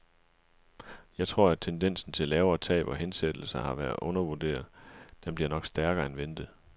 Jeg tror, at tendensen til lavere tab og hensættelser har været undervurderet, den bliver nok stærkere end ventet.